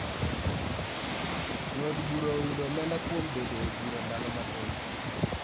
Jo od bura oyudo omenda kuom bedo e bura ndalo mathoth